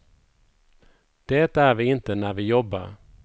Det är vi inte när vi jobbar.